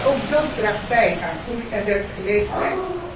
Ook dat draagt bij aan groei en werkgelegenheid.